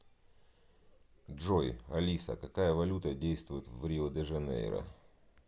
джой алиса какая валюта действует в рио де жанейро